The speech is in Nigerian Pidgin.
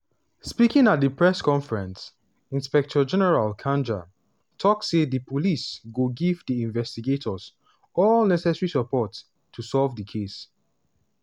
speaking at a press conference inspector general kanja tok say di police go give di investigators all "necessary support" to solve di case.